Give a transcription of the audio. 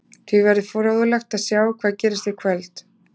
Því verður fróðlegt að sjá hvað gerist í kvöld.